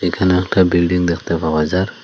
এখানে একটা বিল্ডিং দেখতে পাওয়া যার--